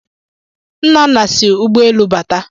Nnanne si ụgbọelu bata